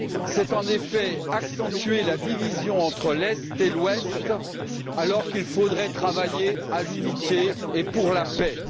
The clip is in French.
C'est, en effet, accentuer la division entre l'Est et l'Ouest alors qu'il faudrait travailler pour l'unité et pour la paix.